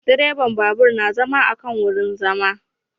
Direban babur na zama akan wurin zama